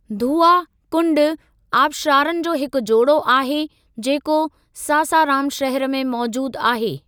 धुआ कुंड आबशारनि जो हिकु जोड़ो आहे जेको सासाराम शहर में मौजूदु आहे।